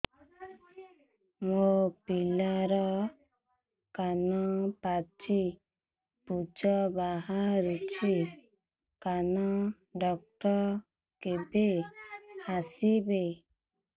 ମୋ ପିଲାର କାନ ପାଚି ପୂଜ ବାହାରୁଚି କାନ ଡକ୍ଟର କେବେ ଆସିବେ